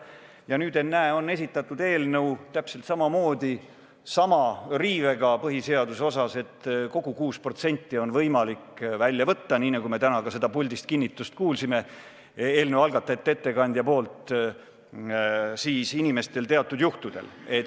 Ja nüüd, ennäe, on esitatud eelnõu, mille puhul esineb täpselt sama riive põhiseaduse osas – kogu 6% on teatud juhtudel võimalik välja võtta, nii nagu me täna siin puldis selle kohta eelnõu algatajate ettekandjalt kinnitust kuulsime.